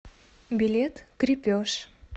билет крепеж